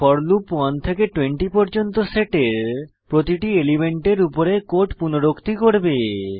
four loop 1 থেকে 20 পর্যন্ত সেটের প্রতিটি এলিমেন্টের উপরে কোড পুনরুক্তি করবে